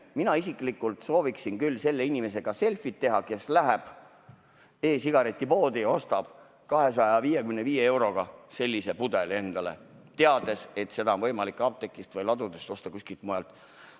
Mina isiklikult sooviksin küll selle inimesega selfit teha, kes läheb e-sigaretipoodi ja ostab 255 euroga sellise pudeli, teades, et seda on võimalik osta apteekidest või ladudest, kuskilt mujalt.